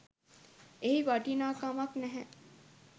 එහි වටිනාකමක් නැහැ.